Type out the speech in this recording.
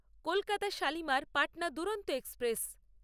Kolkata Shalimar Patna Duronto express